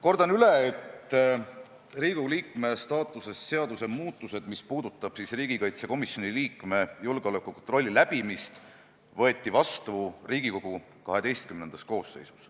Kordan üle: Riigikogu liikme staatuse seaduse muutused, mis puudutab siis riigikaitsekomisjoni liikme julgeolekukontrolli läbimist, võeti vastu Riigikogu XII-s koosseisus.